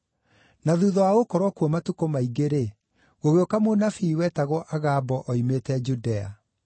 Na thuutha wa gũkorwo kuo matukũ maingĩ-rĩ, gũgĩũka mũnabii wetagwo Agabo oimĩte Judea.